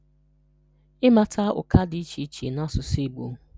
Ịmata ụ́kà dị iche iche n’asụsụ Igbo.